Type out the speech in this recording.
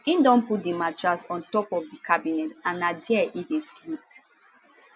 im don put di mattress on top of di cabinet and na dia e dey sleep